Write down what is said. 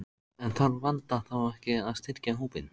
En þarf Vanda þá ekki að styrkja hópinn?